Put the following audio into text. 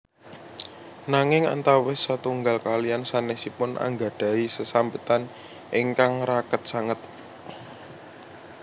Nanging antawis setunggal kaliyan sanesipun anggadhahi sesambetan ingkang raket sanget